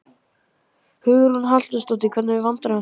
Hugrún Halldórsdóttir: Hvernig vandræðum þá?